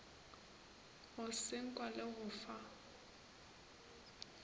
go senkwa le go fa